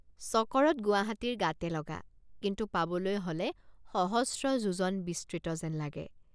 চকৰদ গুৱাহাটীৰ গাতে লগা কিন্তু পাবলৈ হলে সহস্ৰ যোজন বিস্তৃত যেন লাগে।